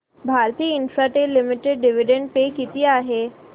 Bharti Infratel limited dividend pay किती आहे